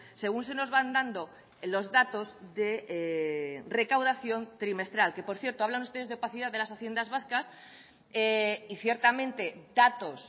según se nos van dando los datos de recaudación trimestral que por cierto hablan ustedes de opacidad de las haciendas vascas y ciertamente datos